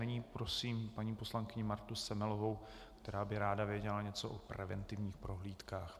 Nyní prosím paní poslankyni Martu Semelovou, která by ráda věděla něco o preventivních prohlídkách.